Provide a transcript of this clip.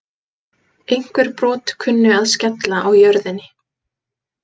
Einhver brot kynnu að skella á jörðinni.